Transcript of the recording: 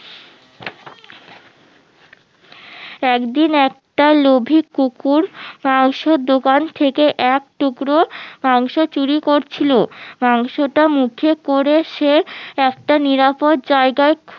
একদিন একটা লোভী কুকুর মাংসোর দোকান থেকে এক টুকরো মাংস চুরি করছিলো মাংসটা মুখে করে সে একটা নিরাপদ জায়গায়